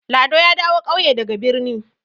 Lado ya dawo ƙauye daga birni.